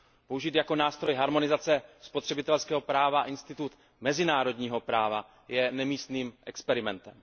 Použít jako nástroj harmonizace spotřebitelského práva institut mezinárodního práva je nemístným experimentem.